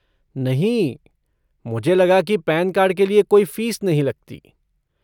नहीं, मुझे लगा की पैन कार्ड के लिये कोई फ़ीस नहीं लगती।